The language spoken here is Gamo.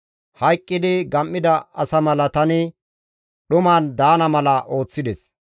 Hayqqidi gam7ida asa mala tani dhuman daana mala ooththides.